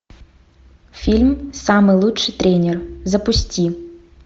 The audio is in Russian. фильм самый лучший тренер запусти